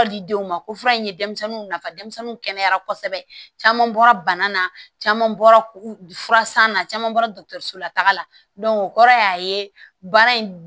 Didenw ma ko fura in ye denmisɛnninw nafa denmisɛnninw kɛnɛyara kosɛbɛ caman bɔra bana na caman bɔra furasan na caman bɔra dɔgɔtɔrɔso la taga la o kɔrɔ y'a ye baara in